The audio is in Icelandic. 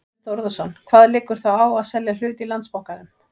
Þorbjörn Þórðarson: Hvað liggur þá á að selja hlut í Landsbankanum?